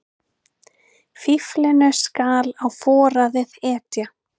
Fíflinu skal á foraðið etja.